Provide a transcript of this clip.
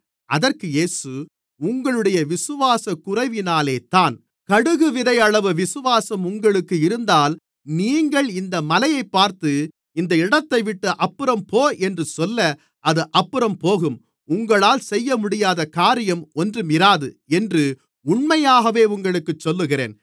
அதற்கு இயேசு உங்களுடைய விசுவாசக்குறைவினாலேதான் கடுகுவிதையளவு விசுவாசம் உங்களுக்கு இருந்தால் நீங்கள் இந்த மலையைப் பார்த்து இந்த இடத்தைவிட்டு அப்புறம் போ என்று சொல்ல அது அப்புறம் போகும் உங்களால் செய்யமுடியாத காரியம் ஒன்றுமிராது என்று உண்மையாகவே உங்களுக்குச் சொல்லுகிறேன்